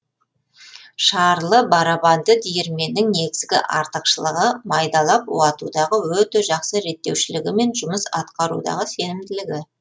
шарлы барабанды диірменнің негізгі артықшылығы майдалап уатудағы өте жақсы реттеушілігі мен жұмыс атқарудағы сенімділігі